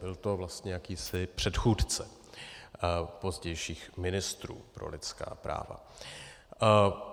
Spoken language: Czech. Byl to vlastně jakýsi předchůdce pozdějších ministrů pro lidská práva.